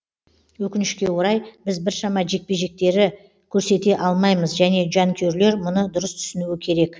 өкінішке орай біз біршама жекпе жектері көрсете алмаймыз және жанкүйерлер мұны дұрыс түсінуі керек